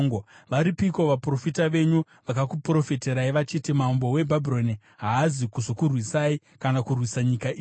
Varipiko vaprofita venyu vakakuprofitirai vachiti, ‘Mambo weBhabhironi haazi kuzokurwisai kana kurwisa nyika ino’?